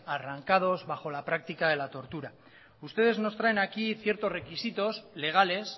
arrancados bajo la práctica de la tortura ustedes nos traen aquí ciertos requisitos legales